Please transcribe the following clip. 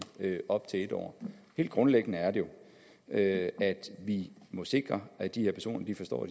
i op til en år helt grundlæggende er det jo at vi må sikre at de her personer forstår